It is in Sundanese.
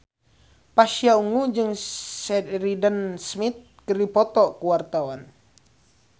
Pasha Ungu jeung Sheridan Smith keur dipoto ku wartawan